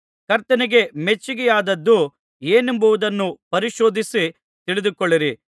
ಕರ್ತನಿಗೆ ಮೆಚ್ಚಿಕೆಯಾದದ್ದು ಏನೆಂಬುದನ್ನು ಪರಿಶೋಧಿಸಿ ತಿಳಿದುಕೊಳ್ಳಿರಿ